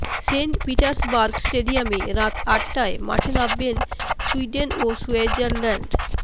Saint Petersburg স্টেডিয়ামে রাত আটটায় মাঠে নামবে সুইডেন ও সুইজারল্যান্ড